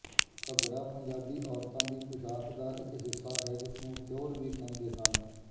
ਘੱਗਰਾ ਪੰਜਾਬੀ ਔਰਤਾਂ ਦੀ ਪੁਸ਼ਾਕ ਦਾ ਇੱਕ ਹਿੱਸਾ ਹੈ ਜਿਸਨੂੰ ਟਿਓਰ ਵੀ ਕਹਿੰਦੇ ਹਨ